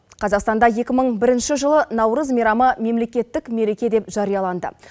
қазақстанда екі мың бірінші жылы наурыз мейрамы мемлекеттік мереке деп жарияланды